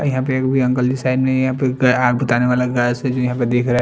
और यहाँ पर एक अंकल के साइड में यहाँ पर आग बिताने वाला गैस हवो ऐसे देख रहा है।